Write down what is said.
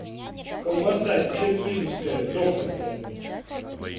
колбаса черкизовская докторская